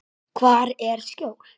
Hvar er skjól?